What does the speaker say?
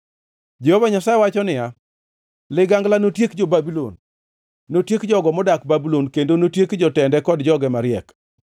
Jehova Nyasaye wacho niya, “Ligangla notiek jo-Babulon! Notiek jogo modak Babulon kendo notiek jotende kod joge mariek!